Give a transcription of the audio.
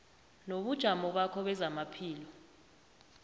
nobujamo bakho bezamaphilo